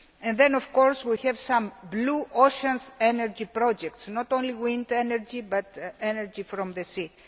Then of course we have some blue ocean energy projects not only wind energy, but energy from the